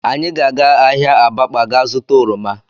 Anyị ga-aga ahịa Abakpa gaa zụta oroma